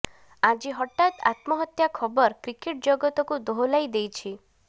ଆଜି ହଠାତ୍ ଆତ୍ମହତ୍ୟା ଖବର କ୍ରିକେଟ୍ ଜଗତକୁ ଦୋହଲାଇ ଦେଇଛି